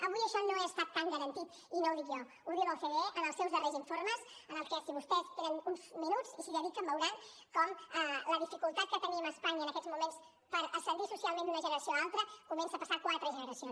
avui això no està tan garantit i no ho dic jo ho diu l’ocde en els seus darrers informes en què si vostès tenen uns minuts i s’hi dediquen veuran com la dificultat que tenim a espanya en aquests moments per ascendir socialment d’una generació a una altra comença a passar quatre generacions